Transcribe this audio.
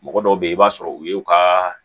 Mɔgɔ dɔw bɛ yen i b'a sɔrɔ u y'u ka